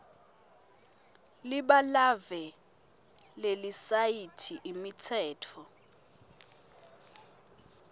libalave lelisayithi imitsetfo